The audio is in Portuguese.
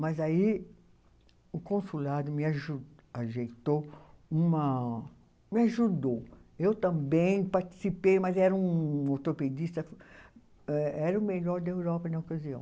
Mas aí o consulado me aju, ajeitou uma, me ajudou, eu também participei, mas era um ortopedista, eh era o melhor da Europa na ocasião.